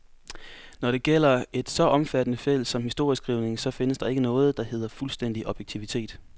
Når det gælder et så omfattende felt som historieskrivningen, så findes der ikke noget, der hedder fuldstændig objektivitet.